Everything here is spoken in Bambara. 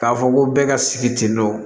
K'a fɔ ko bɛɛ ka sigi tentɔ